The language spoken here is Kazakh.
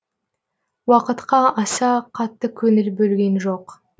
уақытқа аса қатты көңіл бөлген жоқ